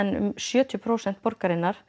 um sjötíu prósent borgarinnar